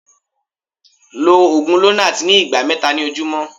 lọ ogun lonart ní igba mẹta ni ojumọ